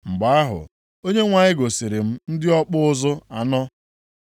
Mgbe ahụ, Onyenwe anyị gosiri m ndị ọkpụ ụzụ anọ.